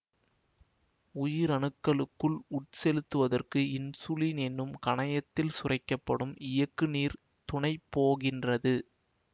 உயிரணுக்களுக்குள் உட்செலுத்துவதற்கு இன்சுலின் எனும் கணையத்தில் சுரக்க படும் இயக்குநீர் துணைபோகின்றது